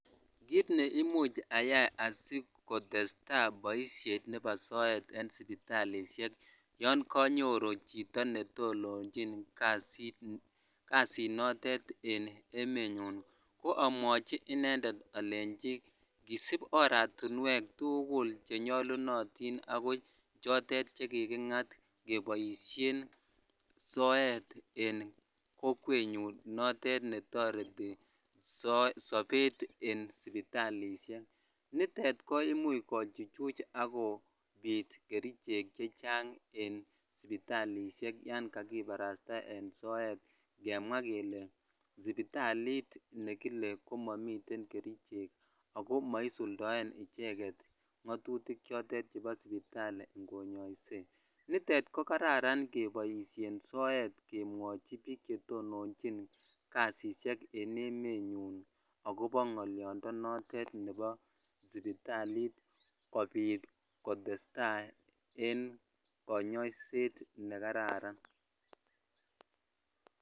Kiit neimuch ayai asikotesta boishet nebo soet en sibitalishek yoon konyoru chito netononchin kasit notet en emenyun ko amwachi inendet alenchi ng'isib oratinwek tukul chenyolunotin ak ko chotet chekiking'at keboishen soet en kokwenyun notet netoreti sobet en sipitalishek, nitet komuch kochuchuch ak kobiit kerichek chechang en sipitalisiek yoon kakibarasta en soet ng'emwa kelee sipitalit nekile komomiten kerichek ak komosuldoen icheket ng'otutik chotet chebo sipitali ng'onyoise, nitet ko kararan keboishen soet kemwochi biik chetononychin kasisiek en emenyun ak kobo ng'oliondo notet nebo sipitalit kobiit ko testa en konyoiset nekararan.